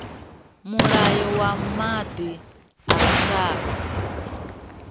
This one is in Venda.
mulayo wa maḓi wa lushaka